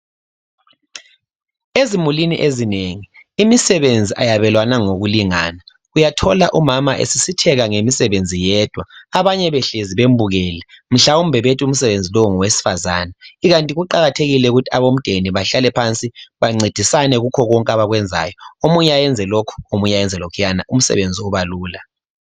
Ezimulini ezinengi imisebenzi ayabelwana ngokulingana uyathola umama esisitheka ngemisebenzi yedwa abanye behlezi bembukele mhlawumbe bethi umsebenzi lo ngowesifazana ikanti kuqakathekile ukuthi abomdeni bahlale phansi bancedisane kikho konke abakwenzayo omunye ayenze lokhu omunye ayenze lokhwana umsebenzi ubalula.